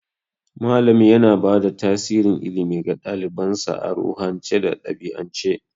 Malami yana bada tasirin ilimi ga ɗalibansa a ruhance da ɗabi'ance.